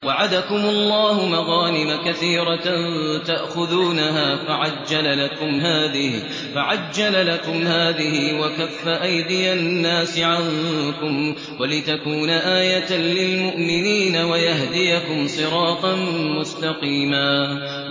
وَعَدَكُمُ اللَّهُ مَغَانِمَ كَثِيرَةً تَأْخُذُونَهَا فَعَجَّلَ لَكُمْ هَٰذِهِ وَكَفَّ أَيْدِيَ النَّاسِ عَنكُمْ وَلِتَكُونَ آيَةً لِّلْمُؤْمِنِينَ وَيَهْدِيَكُمْ صِرَاطًا مُّسْتَقِيمًا